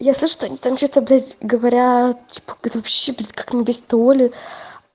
если что они там что-то блять говорят типа когда вообще блять будет как-нибудь оли